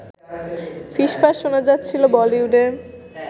ফিসফাস শোনা যাচ্ছিল বলিউডে